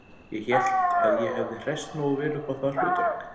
Ég hélt að ég hefði hresst nógu vel upp á það hlutverk